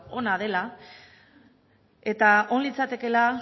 ona dela eta on litzatekeela